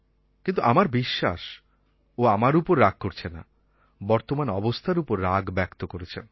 কিন্তু আমার বিশ্বাস ও আমার উপর রাগ করছে না বর্তমান অবস্থার উপর রাগ ব্যক্ত করছেন